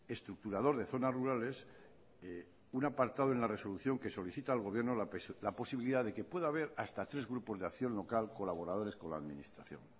estructurador de zonas rurales un apartado en la resolución que solicita al gobierno la posibilidad de que pueda haber hasta tres grupos de acción local colaboradores con la administración